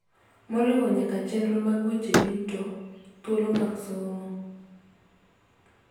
Moriwo nyaka chenro mag weche yuto, thuolo mag somo,